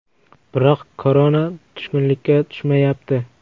Biroq Korona tushkunlikka tushmayapti.